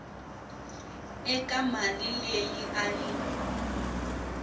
eka mali leyi a yi